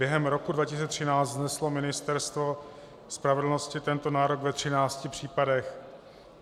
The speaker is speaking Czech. Během roku 2013 vzneslo Ministerstvo spravedlnosti tento nárok ve 13 případech.